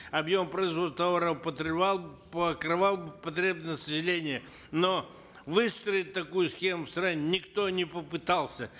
объем производства товаров бы покрывал бы потребности населения но выстроить такую схему в стране никто не попытался